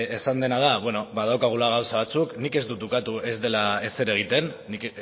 esan dena da badaukagula gauza batzuk nik ez dut ukatu ez dela ezer egiten nik